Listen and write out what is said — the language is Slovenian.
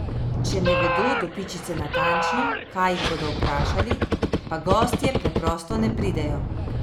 Če ne vedo do pičice natančno, kaj jih bodo vprašali, pa gostje preprosto ne pridejo!